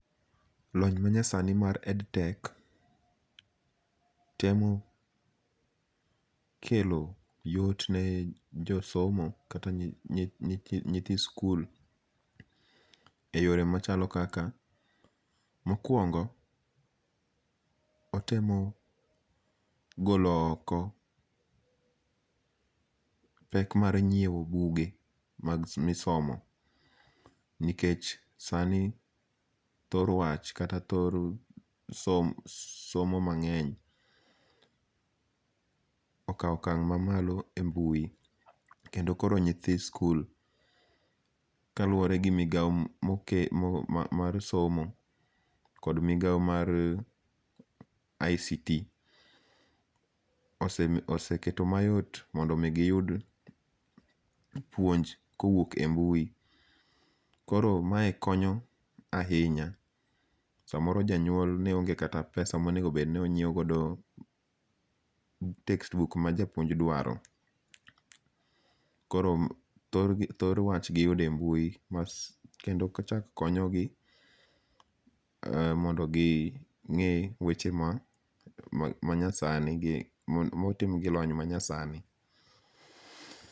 Lony manyasani mar EdTech, temo kelo yot ne josomo kata ne nyithi skul e yore machalo kaka, mokuongo' otemo golo oko pek mar nyiewo buge misomo nikech sani thor wach kata thor somo somo mange'ny akawo okang' mamalo e mbui kendo koro nyithi skul kaluore gi migao mar somo kod migao mar ICT okseketo mayot mondo miyud puonj kowuok e mbui koro mae konyo ahinya, samoro janyuol neonge' kata pesa monigo bed no onyiewo godo textbook ma japuonj dwaro, koro thoro wach giyude e mbui kendo kochak konyogi mondo gi nge' weche manyasani gi motim gi lony manyasani.